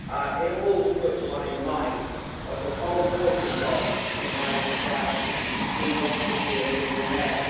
It all puts one in mind of the Cole Porter song from High Society Who wants to be a millionaire?'